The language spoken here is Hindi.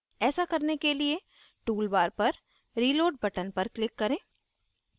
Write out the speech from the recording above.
ऐसा करने के लिए tool bar पर reload button पर click करें